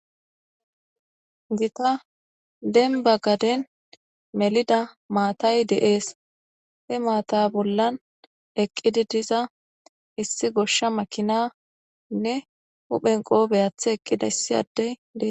gita denba gaden melida maatay deees he maata bollan eqqidi diza issi goshsha makinanne hu phen qoobey athe eqqidayssi addey dee